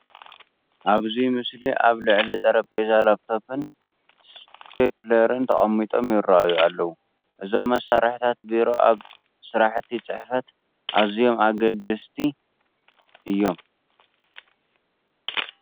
ኣብዚ ምስሊ ኣብ ልዕሊ ጠረጴዛ ላፕቶፕን ስቴፕለርን ተቐሚጦም ይርአዩ ኣለዉ፡፡ እዞም መሳርሕታት ቢሮ ኣብ ስራሕቲ ፅሕፈት ኣዝዮም ኣገደስቲ ንዋት እዮም፡፡